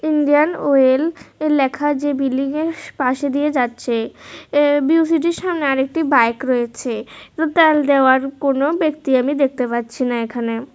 Indian oil লেখা যে বিল্ডিংয়ের পাশ দিয়ে যাচ্ছে এর সামনে আরেকটি বাইক রয়েছে রুতাল দেওয়ার কোন ব্যক্তি আমি দেখতে পাচ্ছি না এখানে।